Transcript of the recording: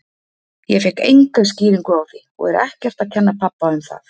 Ég fékk enga skýringu á því og er ekkert að kenna pabba um það.